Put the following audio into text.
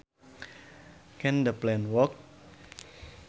Can the plan work